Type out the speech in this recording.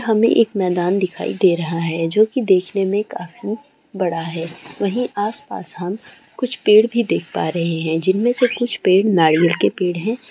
हमें एक मैदान दिखाई दे रहा है जो की देखने में काफी बड़ा है वहीं आसपास हम कुछ पेड़ भी देख पा रहे है जिनमें से कुछ पेड़ नारियल के पेड़ है।